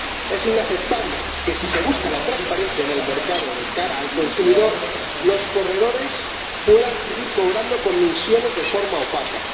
es inaceptable que, si se busca la transparencia en el mercado de cara al consumidor, los corredores puedan seguir cobrando comisiones de forma opaca.